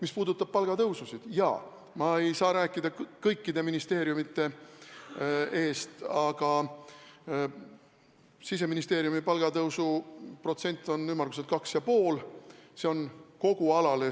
Mis puudutab palgatõususid, siis ma ei saa rääkida kõikide ministeeriumide eest, aga Siseministeeriumi palgatõusu protsent on ümmarguselt 2,5% – see on kogu valdkonnas.